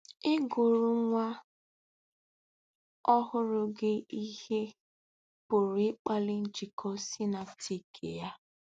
Ịgụrụ nwa ọhụrụ gị ihe pụrụ ịkpali njikọ synaptik ya.